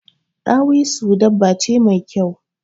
Dawisu dabba ce mai kyau.